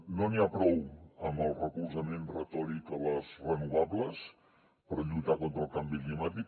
no n’hi ha prou amb el recolzament retòric a les renovables per lluitar contra el canvi climàtic